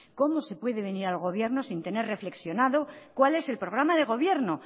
cómo se puede venir al gobierno sin tener reflexionado cuál es el programa de gobierno